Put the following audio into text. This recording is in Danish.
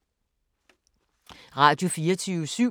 Radio24syv